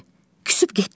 Küsüb getdi xan?